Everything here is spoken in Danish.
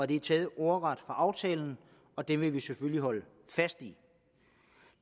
det er taget ordret aftalen og det vil vi selvfølgelig holde fast i